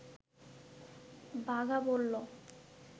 বাঘা বলল